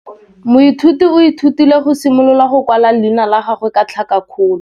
Moithuti o ithutile go simolola go kwala leina la gagwe ka tlhakakgolo.